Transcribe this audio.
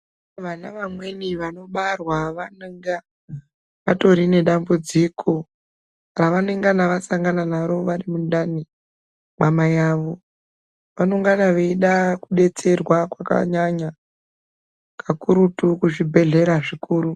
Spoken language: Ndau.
Vana vamweni vanobarwa vanenga vatori nedambudziko pavanengana vasangana naro vari mundani mwamai vavo. Vanongana veida kudetserwa kwakanyanya kakurutu kuzvibhedhlera zvikuru.